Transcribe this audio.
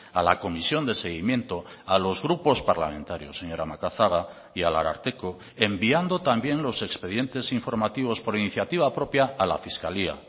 a la comisión de seguimiento a los grupos parlamentarios señora macazaga y al ararteko enviando también los expedientes informativos por iniciativa propia a la fiscalía